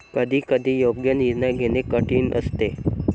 कधी कधी योग्य निर्णय घेणे कठीण असते.